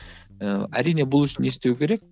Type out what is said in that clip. ы әрине бұл үшін не істеу керек